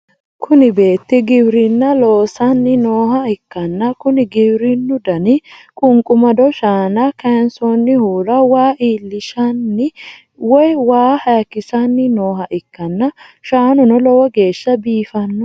kuni beetti giwirinna loosanni nooha ikkanna, kuni giwirinnu dani qunqumado shaana kayiinsoonnihura waa iillishshanni woy wa hayikkisanni nooha ikkanna, shaanuno lowo geeshsha biifino.